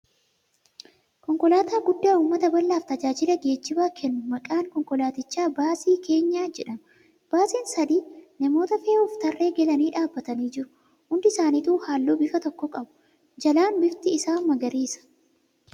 Konkolaataaa guddaa uummata bal'aaf taajaajila geejjibaa kennu. Maqaan konkolaatichaa baasii keenyaa jedhama. Baasiin sadii namoota fe'uuf tarree galanii dhaabbatanii jiru. Hundi isaanituu halluu bifa tokko qsbu. Jalaan bifti isaa magariisa.